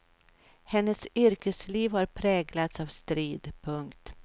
Hennes yrkesliv har präglats av strid. punkt